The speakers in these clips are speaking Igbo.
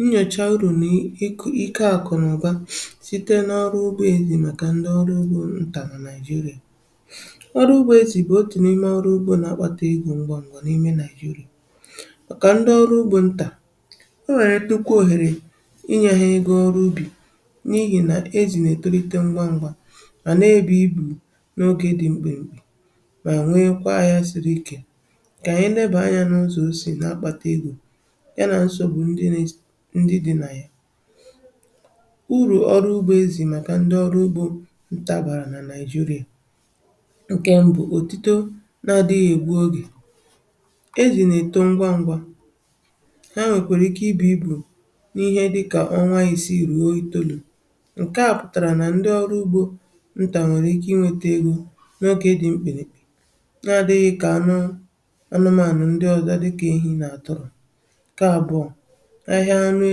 Nnyòcha urù n'ike ike àkụ n'ụ̀ba ̀[uh] site n’ọrụ ugbȯ èzì màkà ndị ọrụ ugbȯ ntà na à Nigeria. uh Ọrụ ugbȯ ezì bù otù n’ime ọrụ ugbȯ n’akpata egȯ ngwà ngwà n’ime Nigeria. Màkà ndị ọrụ ugbȯ ntà, onwere nnukwu òhèrè inye ha ego ọrụ ubi n’ihì nà ezì na-ètolite ngwà ngwa mà na-ebì ibù n’ogè dị mkpimkpi, mà nwee kwaa ahia siri ike. Kà ànyị nebà anyȧ n’ụzọ o si na akpata egȯ ya na nsogbu ndị dị nà ya. Urù ọrụ ugbȯ ezì màkà ndị ọrụ ugbȯ nta bàrà nà Nigeria. Nkẹ mbụ̀; òtito na-adịghị ègbu ogè, ezì nà èto ngwa ngwa ha nwèkwèra ike ibù ibu n’ihe dịkà ọnwa isiì ruo itolu̇ ǹkẹ̀ a pụtàrà nà ndị ọrụ ugbȯ ntà nwèrè ike iwėta egȯ n’ogé dị̀ mkpirikpi nà adịghị kà anụ anụmaȧnụ̀ ndị ọzọ à dịkà ehi̇ nà àtụrụ̀. Nke abụọ; ahịa anụ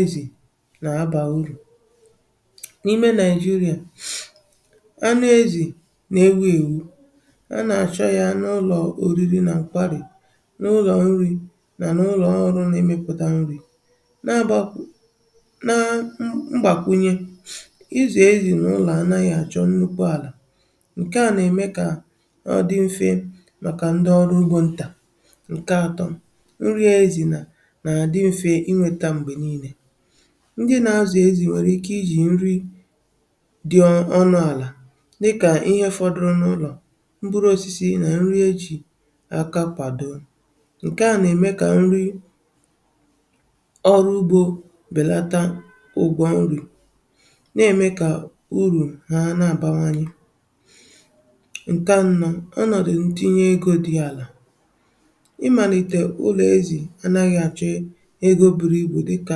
ezì nà-abà ụrụ̀, n’ime Nigeria uh anụ ezì nà-ewu̇ èwu a nà-àchọ ya n’ụlọ̀ oriri na nkwarì, n’ụlọ̀ nri mà n’ụlọ̀ ọrụ na-emepụ̀ta nri na-abàkwụ na mgbàkwunye[uh] ịzụ̀ ezi n’ụlọ̀ anȧghị̇ àchọ nnukwu àlà, ǹkè a nà-ème kà ọ dị mfe màkà ndị ọrụ ugbȯ ntà. Nke atọ; nri a ezì na na-àdị mfe inweta mgbe niile. Ndị nȧ-azụ̀ ezì nwèrè ike ijì nri dị̀ ọ.. ọnụ̇ àlà dịkà ihe fọdụrụ̇ n’ụlọ̀, mkpụrụ osisi nà nri ejì aka kwàdo ǹkè a nà-ème kà ndị ọrụ ugbȯ bèlata ụgwọ nri̇ na-ème kà urù ha nà-àbawanye. Nkè anọ̀; ọnọ̀dụ̀ ntinye egȯ dị̇ àlà, ị malite ụlọ ezi anaghị achọ eh ego buru ibu dịka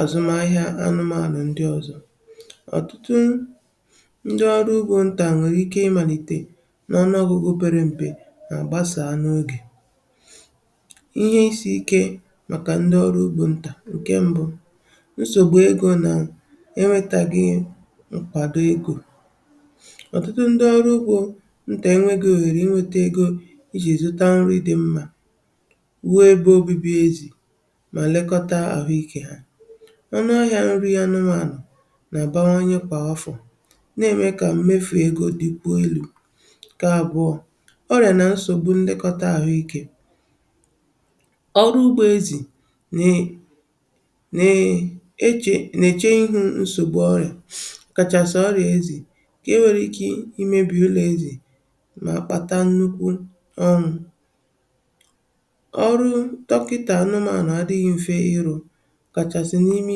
àzụm ahịa anụmànụ̀ ndi ọzọ̇. Ọtụtụ ndi ọrụ ugbȯ ntà nwèrè ike imàlìtè n’ọnụ ọgụgụ obere m̀pè mà-àgbasà n'ogè. Ihe isi̇ ike màkà ndi ọrụ ugbȯ ntà ǹke ṁbụ̇; nsògbu egȯ na enwetaghị nkwàdo egȯ. Ọtụtụ ndi ọrụ ugbo ntà enweghi òhèrè iwete egȯ ijì èzụta nri dị̀ mmȧ rụọ ebe obibi ezi ma lekọta ahụike ha. Ọ́nụahịa nri ànụ̀manụ nà-àbawanye kwa afọ̀ na-ème kà mmefù egȯ dị kwuo elù. Nkè àbụọ̇; ọrịà na nsògbu nlekọta àhụikė, ọrụ ugbȯ ezì nà-e nee nà-eche nà-èche ihu nsògbu ọrịà ọkàchàsì ọrịà ezì ǹkè e nwere ike imėbì ụlọ̀ ezì mà kpata nnukwu ọnwụ̇. Ọrụ dọkịta anụmaȧnụ̀ adịghị mfe ịrụ ọkàsị̀ n’ime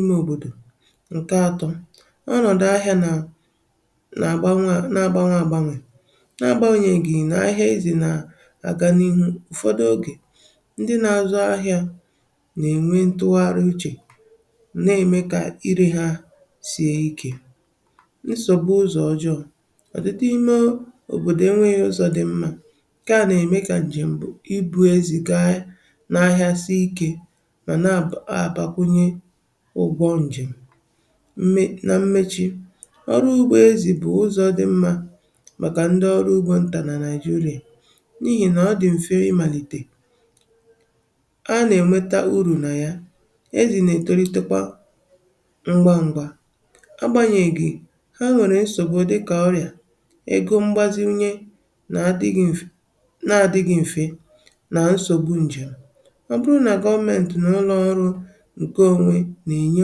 imė òbòdò. Nke atọ; ọnọ̀dụ ahịa nà nà-àgbanwe n'agbanwe àgbanwè nà-àgbanyèghì nà ahịa ezì nà àgà n’ihu ụ̀fọdụ ogè ndị na-azụ ahịȧ nà-ènwe ntụgharị uchè nà-ème kà irė ha sie ikė. Nsọgbu ụzọ̀ ọjọọ, ọtụtụ imė òbòdò enweghị ụzọ̀ dị̇ mmȧ nkeà nà-ème kà ǹjèm̀ bụ̀ ibu̇ ezì gaa n’ahịa si ikė ma na aba abakwunye ụgbọ̇ njem. Mee na mmechi, ọrụ ugbo ezì bụ̀ ụzọ̇ dị mmȧ màkà ndị ọrụ ugbȯ ntà nà Nigeria n’ihì nà ọ dị̀ m̀fe ịmàlìtè a nà-ènweta urù nà ya ezì nà-ètolite kwa ngwa ngwa agbȧnyèghì, ha nwèrè nsògbu dịkà ọrịà, ego mgbazinye nà-adị̇ghi̇ m̀fe na-adị̇ghi̇ m̀fe nà nsògbu ǹjèm̀. Ọ bụrụ nà gọọmentị n’ụlọ̀ ọrụ nke onwe nà-enye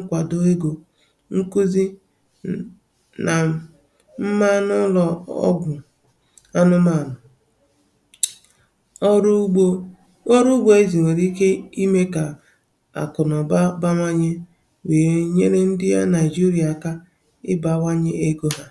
nkwàdò egȯ, nkụzị nà mma mmanụ ụlọ̀ ọgwụ̀ anụmànụ̀.[uh] Ọrụ ugbȯ ọrụ ugbȯ ezì nwèrè ike imė kà àkụ̀nụba bȧwȧnyė wèe nyere ndị Nigeria akà ịbȧwanye egȯ hà.